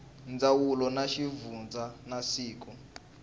ndzawulo ya xivundza na siku